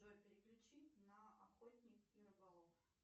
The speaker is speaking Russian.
джой переключи на охотник и рыболов